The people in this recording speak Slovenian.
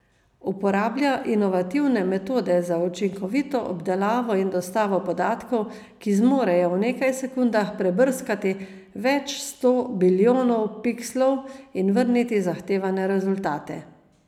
Uporablja inovativne metode za učinkovito obdelavo in dostavo podatkov, ki zmorejo v nekaj sekundah prebrskati več sto bilijonov pikslov in vrniti zahtevane rezultate.